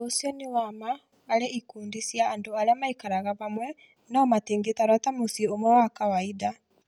Ũndũ ũcio nĩ wa ma harĩ ikundi cia andũ arĩa maikaraga hamwe no matingĩtarwo ta mũciĩ ũmwe wa kawaida